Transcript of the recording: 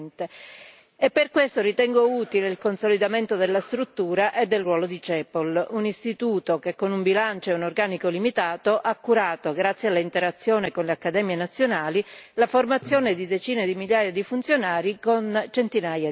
E per questo ritengo utile il consolidamento della struttura e del ruolo di CEPOL, un istituto che con un bilancio e un organico limitato ha curato, grazie all'interazione con le Accademie nazionali, la formazione di decine di migliaia di funzionari con centinaia di attività.